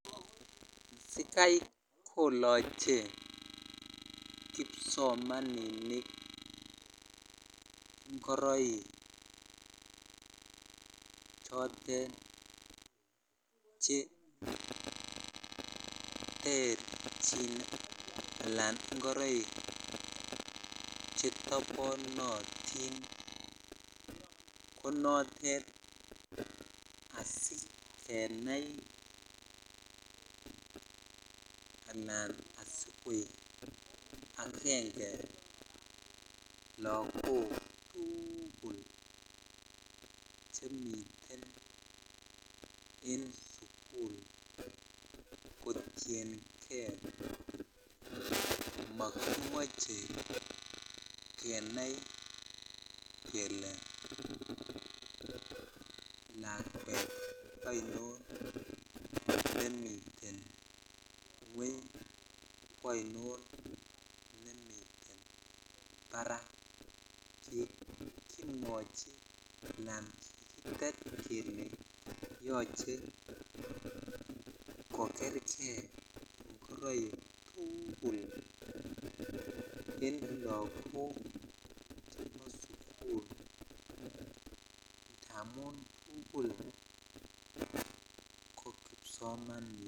Sikai koloche kipsomaninik ngoroik chotet cheterchin anan ngoroik chetoponotin asikenai anan asikoik agenge lagok tuugul chemiten en sugul kotiengee mokimoche kenai kele lakwet ainon nemiten ngweny anan kwoi non nemiten barak kikimwochi anan kikitet kele yoche kokerkei ngoroik tugul en lagok chebo sugul ndamun tuugul ko kipsomaninik.